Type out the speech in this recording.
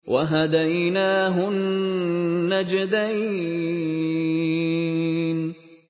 وَهَدَيْنَاهُ النَّجْدَيْنِ